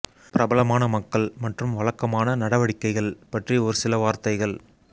பிரபலமான மக்கள் மற்றும் வழக்கமான நடவடிக்கைகள் பற்றி ஒரு சில வார்த்தைகள்